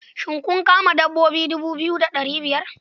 Shin kun kama dabbobi dubu biyu da ɗari biyar?